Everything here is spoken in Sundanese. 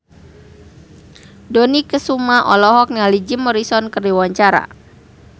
Dony Kesuma olohok ningali Jim Morrison keur diwawancara